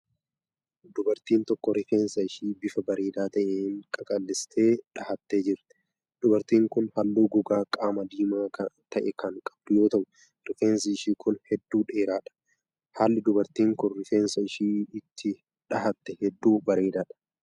Dubartiin tokko rifeensa ishee bifa bareedaa ta'een qaqallistee dhahattee jirti. Dubartiin kun haalluu gogaa qaamaa diimaa ta'e kan qabdu yoo ta'u, rifeensi ishee kun hedduu dheeraa dha. Haalli dubartiin kun, rifeensa ishee itti dhahatte hedduu bareedaa dha.